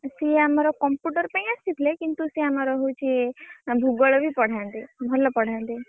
ସିଏ ଆମର computer ପାଇଁ ଆସିଥିଲି କିନ୍ତୁ ସେଇ ଆମର ହଉଛି ଭୁଗୋଳ ବି ପଢାନ୍ତି ଭଲ ପଢାନ୍ତି।